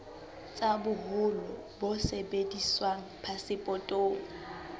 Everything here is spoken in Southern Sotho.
tsa boholo bo sebediswang phasepotong